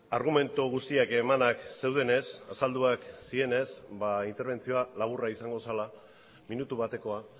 argumentu guztiak emanak zeudenez azalduak zirenez interbentzioa laburra izango zela minutu batekoa